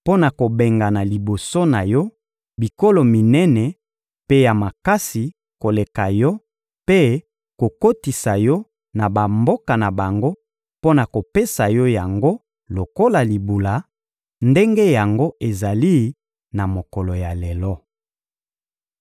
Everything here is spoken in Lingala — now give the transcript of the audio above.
mpo na kobengana liboso na yo bikolo minene mpe ya makasi koleka yo mpe kokotisa yo na bamboka na bango mpo na kopesa yo yango lokola libula ndenge yango ezali na mokolo ya lelo.